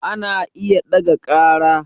Ana iya ɗaga ƙara